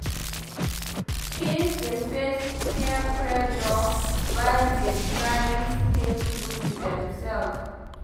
Teens dey face peer pressure while dey try stay true to demself.